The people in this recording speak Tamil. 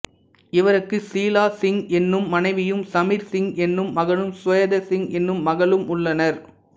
இவருக்கு சீலா சிங் என்னும் மனைவியும் சமீர் சிங் என்னும் மகனும் சுவேதா சிங் என்னும் மகளும் உள்ளனர்